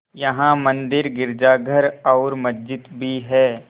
यहाँ मंदिर गिरजाघर और मस्जिद भी हैं